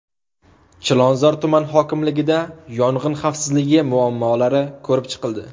Chilonzor tuman hokimligida yong‘in xavfsizligi muammolari ko‘rib chiqildi.